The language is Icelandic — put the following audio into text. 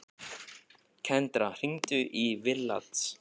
Kendra, hringdu í Villads.